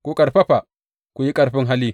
Ku ƙarfafa, ku yi ƙarfin hali.